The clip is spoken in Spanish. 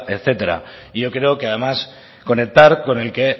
etcétera yo creo que además conectar con el que